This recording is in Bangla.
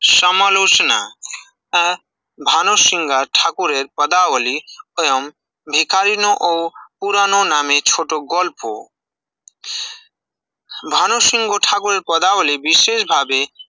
সমালোচনা আ ভানু সিংহা ঠাকুরের পদাবলী স্বয়ং ভিকারিন ও পুরানো নামে ছোট গল্প ভানু সিংহ ঠাকুরের পদাবলী বিশেষভাবে